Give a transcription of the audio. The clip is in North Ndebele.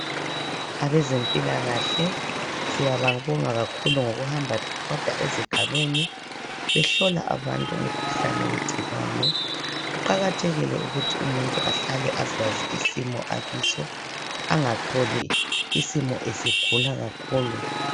Abezempilakahle siyababonga kakhulu ngokuhamba bebhoda ezigabeni behlola abantu ngomkhuhlane wegciwane. Kuqakathekile ukuthi umuntu ahlale azazi isimo akiso. Angatholi isimo esegula kakhulu.